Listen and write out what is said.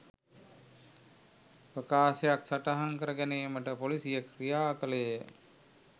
ප්‍රකාශයක් සටහන් කර ගැනීමට පොලිසිය ක්‍රියා කළේය